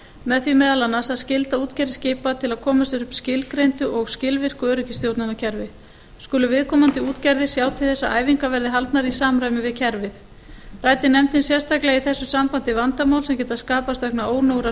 með því meðal annars að skylda útgerðir skipa til að koma sér upp skilgreindu og skilvirku öryggisstjórnunarkerfi skulu viðkomandi útgerðir sjá til þess að æfingar verði haldnar í samræmi við kerfið ræddi nefndin sérstaklega í þessu sambandi vandamál sem geta skapast vegna ónógrar